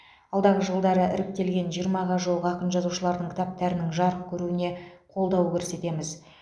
алдағы жылдары іріктелген жиырмаға жуық ақын жазушылардың кітаптарының жарық көруіне қолдау көрсетеміз